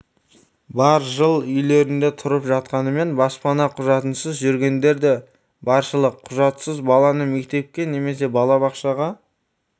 бар жыл үйлерінде тұрып жатқанымен баспана құжатынсыз жүргендер де баршылық құжатсыз баланы мектепке немесе балабақшаға